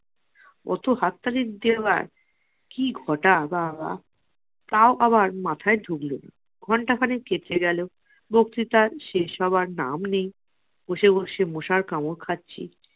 অত হাততালি দেওয়ার কি ঘটা বা বা, তাও আবার মাথায় ঢুকলোনা । ঘন্টা খানেক কেটে গেলো, বক্ত্রিতা শেষ হওয়ার নাম নেই। বসে বসে মশার কামড় খাচ্ছি।